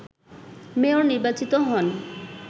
mayor নির্বাচিত হন